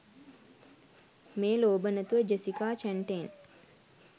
මේ ලෝභ නැතුව ජෙසිකා චැන්ටේන්